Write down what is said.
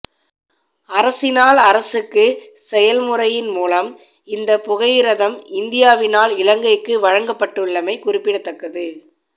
அரசினால் அரசுக்கு செயன்முறையின் மூலம் இந்த புகையிரதம் இந்தியாவினால் இலங்கைக்கு வழங்கப்பட்டுள்ளமை குறிப்பிடத்தக்கது